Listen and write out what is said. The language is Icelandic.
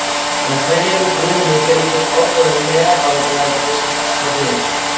með hverjum grunni fylgir ákveðið MEÐLÆTI sem passar við.